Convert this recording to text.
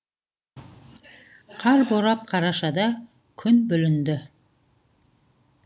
қар борап қарашада күн бүлінді